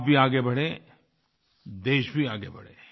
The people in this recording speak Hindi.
आप भी आगे बढें देश भी आगे बढ़े